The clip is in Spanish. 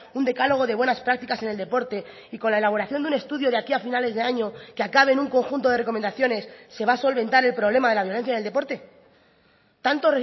un decálogo de buenas prácticas en el deporte y con la elaboración de un estudio de aquí a finales de año que acabe en un conjunto de recomendaciones se va a solventar el problema de la violencia del deporte tanto